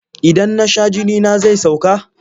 Idan na sha jinina zai sauka.